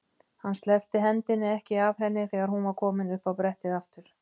Hann sleppti hendinni ekki af henni þegar hún var komin upp á brettið aftur.